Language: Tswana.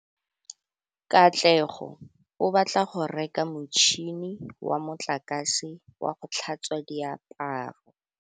Katlego o batla go reka motšhine wa motlakase wa go tlhatswa diaparo.